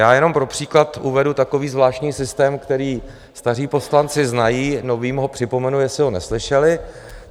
Já jenom pro příklad uvedu takový zvláštní systém, který staří poslanci znají, novým ho připomenu, jestli ho neslyšeli.